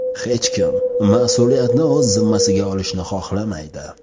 Hech kim mas’uliyatni o‘z zimmasiga olishni xohlamaydi.